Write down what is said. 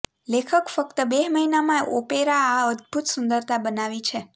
લેખક ફક્ત બે મહિનામાં ઓપેરા આ અદભૂત સુંદરતા બનાવી છે